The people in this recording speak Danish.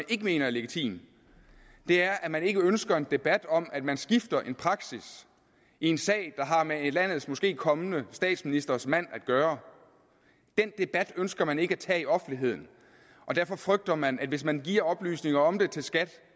ikke mener er legitim er at man ikke ønsker en debat om at man skifter en praksis i en sag der har med landets måske kommende statsministers mand at gøre den debat ønsker man ikke at tage i offentligheden og derfor frygter man at hvis man giver oplysninger om det til skat